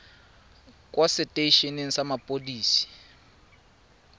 kwa setei eneng sa mapodisi